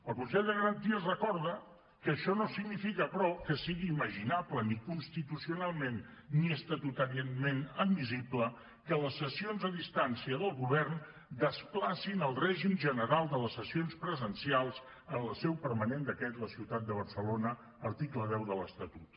el consell de garanties recorda que això no significa però que sigui imaginable ni constitucionalment ni estatutàriament admissible que les sessions a distància del govern desplacin el règim general de les sessions presencials en la seu permanent d’aquest la ciutat de barcelona article deu de l’estatut